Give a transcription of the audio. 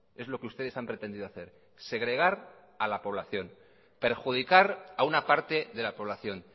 es lo que ustedes han pretendido hacer segregar a la población perjudicar a una parte de la población